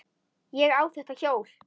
Ég á þetta hjól!